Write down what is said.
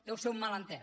deu ser un malentès